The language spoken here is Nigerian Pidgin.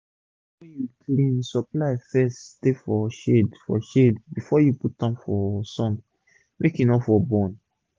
fud wey u clean supply first stay for shade for shade before u put am for sun make e for no burn.